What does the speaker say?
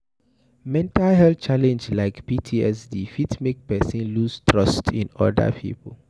Mental health challenge like PTSD fit make person loose trust in oda pipo